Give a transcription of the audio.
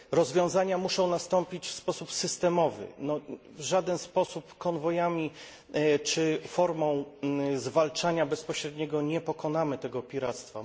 Rozwiązania muszą nastąpić w sposób systemowy, w żaden sposób konwojami czy formą zwalczania bezpośredniego nie pokonamy tego piractwa.